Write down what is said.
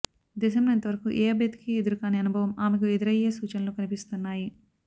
దేశంలో ఇంతవరకు ఏ అభ్యర్థికీ ఎదురుకాని అనుభవం ఆమెకు ఎదురయ్యే సూచనలు కనిపిస్తున్నాయి